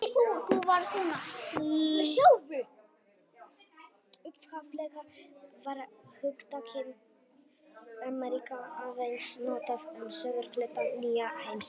Upphaflega var hugtakið Ameríka aðeins notað um suðurhluta nýja heimsins.